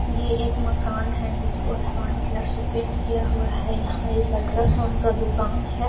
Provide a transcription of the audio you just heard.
यह एक मकान है जिसको आसमानी कलर से पेंट किया हुआ है यहां एक अल्ट्रासाउंड का दुकान है।